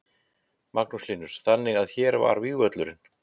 Magnús Hlynur: Þannig að hér var vígvöllurinn?